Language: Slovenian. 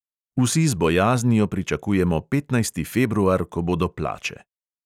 Vsi z bojaznijo pričakujemo petnajsti februar, ko bodo plače.